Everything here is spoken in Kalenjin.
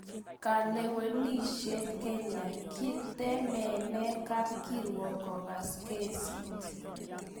Kalewenishet Kenya: Kitemenee kapkirwok kokas kesiit